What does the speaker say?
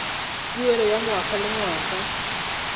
tuelo ya ngwaga le ngwaga